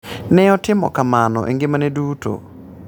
Ne otimo kamano e ngimane duto.